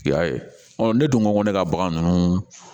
I y'a ye ne dun ko ko ne ka bagan ninnu